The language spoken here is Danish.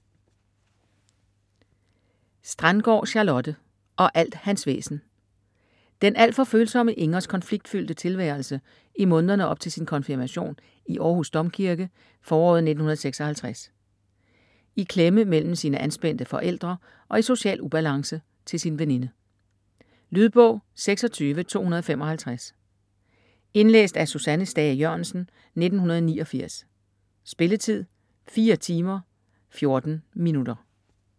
Strandgaard, Charlotte: Og alt hans væsen Den alt for følsomme Ingers konfliktfyldte tilværelse i månederne op til sin konfirmation i Århus Domkirke foråret 1956. I klemme mellem sine anspændte forældre og i social ubalance til sin veninde. Lydbog 26255 Indlæst af Susanne Stage Jørgensen, 1989. Spilletid: 4 timer, 14 minutter.